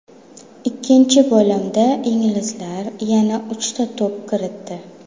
Ikkinchi bo‘limda inglizlar yana uchta to‘p kiritdi.